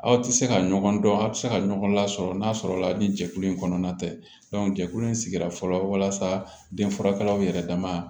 Aw tɛ se ka ɲɔgɔn dɔn aw bɛ se ka ɲɔgɔn lasɔrɔ n'a sɔrɔla ni jɛkulu in kɔnɔna tɛ jɛkulu in sigira fɔlɔ walasa denfagalaw yɛrɛ dama